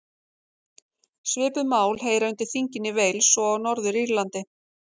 Svipuð mál heyra undir þingin í Wales og á Norður-Írlandi.